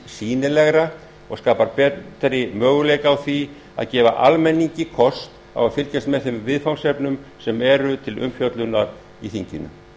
sýnilegra og skapar betri möguleika á því að gefa almenningi kost á fylgjast með þeim viðfangsefnum sem eru til umfjöllunar á þinginu